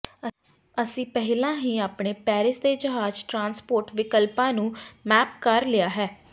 ਅਸੀਂ ਪਹਿਲਾਂ ਹੀ ਆਪਣੇ ਪੈਰਿਸ ਦੇ ਜਹਾਜ ਟਰਾਂਸਪੋਰਟ ਵਿਕਲਪਾਂ ਨੂੰ ਮੈਪ ਕਰ ਲਿਆ ਹੈ